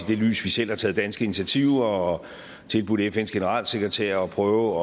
det lys vi selv har taget danske initiativer og tilbudt fns generalsekretær at prøve